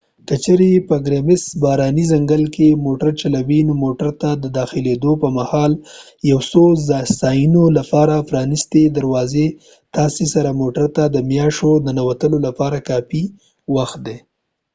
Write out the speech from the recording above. که چیرې په ګرمسیر باراني ځنګل کې موتر چلوې نو موټر ته د داخلیدو پر مهال یو څو څانیو لپاره پرانستې دروازې تاسې سره موټر ته د میاشو د ننوتلو لپاره کافي وخت دي